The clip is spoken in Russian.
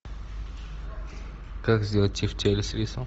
как сделать тефтели с рисом